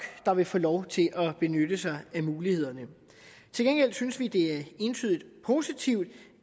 der vil få lov til at benytte sig af mulighederne til gengæld synes vi det er entydigt positivt